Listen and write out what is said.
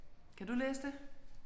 Kan du læse det?